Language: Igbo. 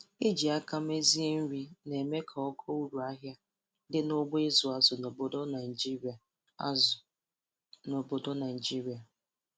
Iji aka mezie nri na-eme ka ogo uru ahịa di n'ugbo ịzụ azụ n'obodo Naịjirịa azụ n'obodo Naịjirịa